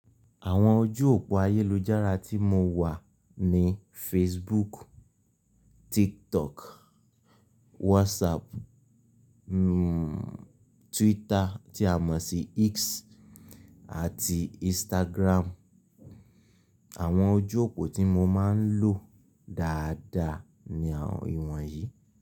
Àwọn ojú òpó ayélujára tí mo wà ni Facebook, TikTok, WhatsApp, mmhmm Twitter tí a mọ̀ sí X àti Instagram. Àwọn ojú òpó tí mo máa ń lò dáadáa ni ìwọ̀n yìí.